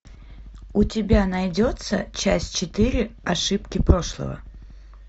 у тебя найдется часть четыре ошибки прошлого